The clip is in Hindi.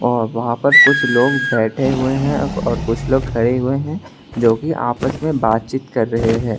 और वहां पर कुछ लोग बैठे हुए हैं और कुछ लोग खड़े हुए हैं जो कि आपस में बातचीत कर रहे हैं।